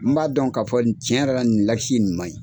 N b'a dɔn k'a fɔ nin tiɲɛ yɛrɛ la nin lasi nin maɲi.